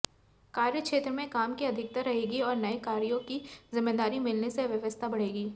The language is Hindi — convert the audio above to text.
कार्यक्षेत्र में काम की अधिकता रहेगी और नए कार्यों की जिम्मेदारी मिलने से व्यस्तता बढ़ेगी